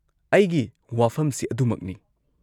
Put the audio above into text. -ꯑꯩꯒꯤ ꯋꯥꯐꯝꯁꯤ ꯑꯗꯨꯃꯛꯅꯤ ꯫